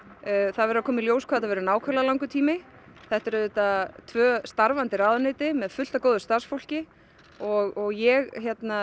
það verður að koma í ljós hvað þetta verður nákvæmlega langur tími þetta eru auðvitað tvö starfandi ráðuneyti með fullt af góðu starfsfólki og ég